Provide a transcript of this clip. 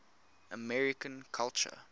american culture